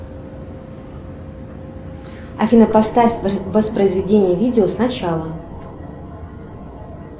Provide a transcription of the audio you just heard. афина поставь воспроизведение видео сначала